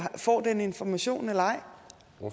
får den information eller